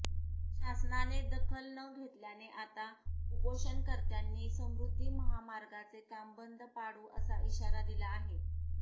शासनाने दखल न घेतल्याने आता उपोषणकर्त्यांनी समृद्धी महामार्गाचे काम बंद पाडू असा इशारा दिला आहे